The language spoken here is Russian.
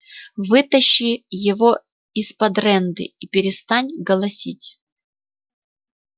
вытащи его из-под рэнды и перестань голосить